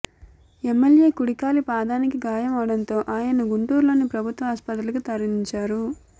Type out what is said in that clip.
MLA కుడికాలి పాదానికి గాయం అవడంతో ఆయన్ను గుంటూరులోని ప్రభుత్వ ఆస్పత్రికి తరలించారు